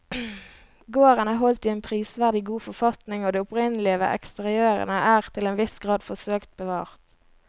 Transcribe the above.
Gården er holdt i en prisverdig god forfatning og det opprinnelige ved eksteriørene er til en viss grad forsøkt bevart.